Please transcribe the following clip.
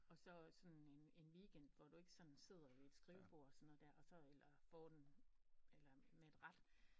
Og så sådan en en weekend hvor du ikke sådan sidder ved et skrivebord og sådan noget der og så eller får den eller med et rat